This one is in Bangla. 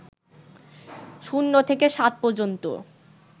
০ থেকে ৭ পর্যন্ত